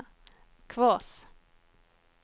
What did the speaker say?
Kvås